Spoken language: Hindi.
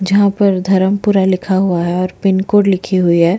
जहाँ पर धर्म पूरा लिखा हुआ है पिन कोड लिखी हुई है।